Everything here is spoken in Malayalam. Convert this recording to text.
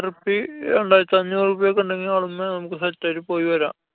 റുപ്പീ രണ്ടായിരത്തി അഞ്ഞൂറു ഉറുപ്യക്കെണ്ടെങ്കില്‍ നമുക്ക് set ആയിട്ട് പോയി വരാം.